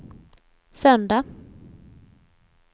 söndag